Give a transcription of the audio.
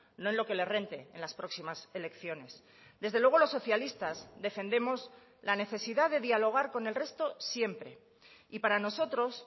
no en lo que le rente en las próximas elecciones desde luego los socialistas defendemos la necesidad de dialogar con el resto siempre y para nosotros